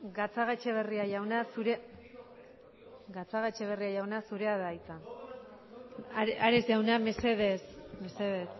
gatzagaetxebaria jauna zurea da hitza ares jauna mesedez mesedez